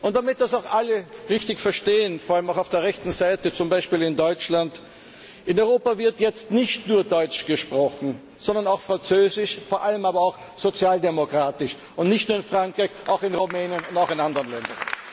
Damit das auch alle richtig verstehen, vor allem auch auf der rechten Seite, zum Beispiel in Deutschland In Europa wird jetzt nicht nur deutsch gesprochen, sondern auch französisch, vor allem aber auch sozialdemokratisch und zwar nicht nur in Frankreich, sondern auch in Rumänien und auch in anderen Ländern.